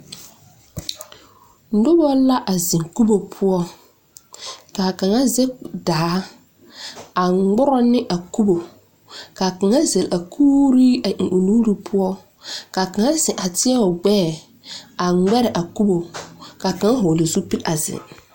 Noba la a zeŋ kubo poɔ ka kaŋa zege daa a ŋmorɔ ne a kubo ka kaŋa zɛle a kuuri eŋ o nu poɔ ka a kaŋa zeŋ teɛ o gbɛɛ a ŋmɛre a kubo ka kaŋa vɔgle zupili a zeŋ.